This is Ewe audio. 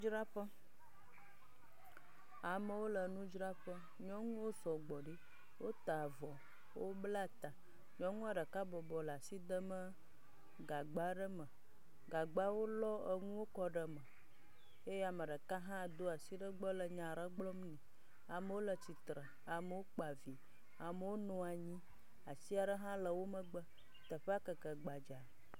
Nudzraƒe, amewo le nudzraƒe, nuwo sɔgbɔ, wota avɔ, wobla ta, nyɔnua ɖeka bɔbɔ nɔ le asi demee gagba aɖe me, gagba wolɔ enuwo kɔ ɖe me eye ame ɖeka hã do asi ɖe le nya aɖe gblɔm nɛ. Amewo le tsitre, amewo kpa vi, amewo nɔ nyi, ati aɖe le wo megbe, teƒea keke gbadzaa.